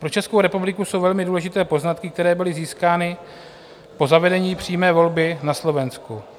Pro Českou republiku jsou velmi důležité poznatky, které byly získány po zavedení přímé volby na Slovensku.